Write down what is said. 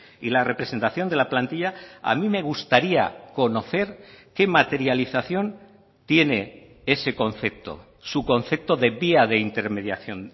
y la representación de la plantilla a mí me gustaría conocer qué materialización tiene ese concepto su concepto de vía de intermediación